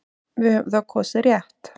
Við höfum þá kosið rétt.